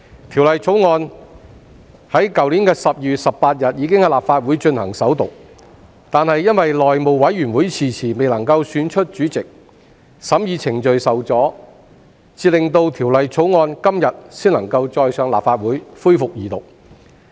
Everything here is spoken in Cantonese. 《條例草案》在去年12月18日已經在立法會進行首讀，但由於內務委員會遲遲未能選出主席，審議程序受阻，到今天才能恢復《條例草案》的二讀辯論。